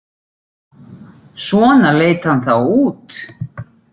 Svona leit hann þá út.